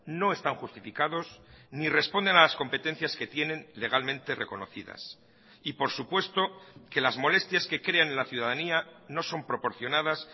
no están justificados ni responden a las competencias que tienen legalmente reconocidas y por supuesto que las molestias que crean en la ciudadanía no son proporcionadas